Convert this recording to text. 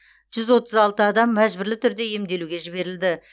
жүз отыз алты адам мәжбүрлі түрде емделуге жіберілді